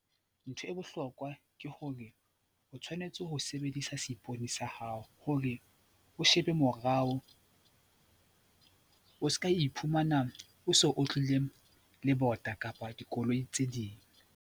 Ntho e bohlokwa ke hore o tshwanetse ho sebedisa seipone sa hao hore o shebe morao o ska iphumana o so otlile le bota kapa dikoloi tse ding.